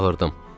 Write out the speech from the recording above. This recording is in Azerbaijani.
Çağırdım.